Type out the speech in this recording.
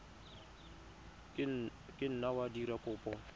ka nna wa dira kopo